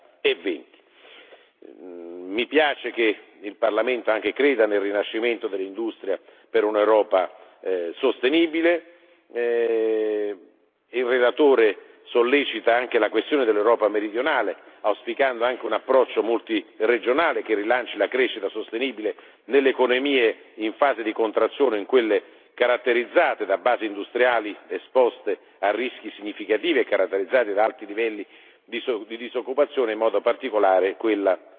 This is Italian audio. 2020. Mi rallegro del fatto che il Parlamento creda altresì nella ripresa dell'industria per un'Europa sostenibile. Il relatore solleva anche la questione dell'Europa meridionale, auspicando tra l'altro un approccio multiregionale che rilanci la crescita sostenibile nelle economie in fase di contrazione e in quelle caratterizzate da basi industriali esposte a rischi significativi e caratterizzate da alti livelli di disoccupazione, in modo particolare quella